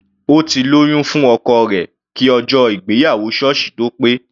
Ó ti lóyún fún ọkọ rẹ̀ kí ọjọ́ ìgbéyàwó sọ́ọ̀sì tó pé.